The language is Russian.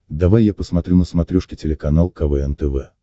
давай я посмотрю на смотрешке телеканал квн тв